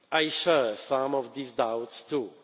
I share some of these doubts